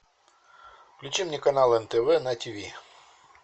включи мне канал нтв на ти ви